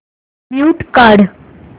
mute काढ